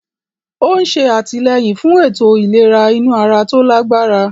Ó ń ṣe àtìlẹ́yìn fún ètò ìlera inú ara tó lágbára.